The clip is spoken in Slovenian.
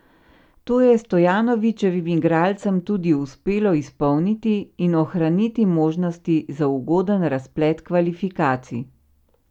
To je Stojanovićevim igralcem tudi uspelo izpolniti in ohraniti možnosti za ugoden razplet kvalifikacij.